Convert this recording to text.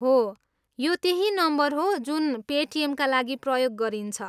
हो, यो त्यही नम्बर हो जुन पेटिएमका लागि प्रयोग गरिन्छ।